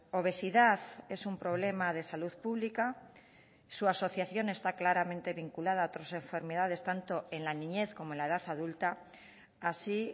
obesidad es un problema de salud pública su asociación está claramente vinculada a otras enfermedades tanto en la niñez como la edad adulta así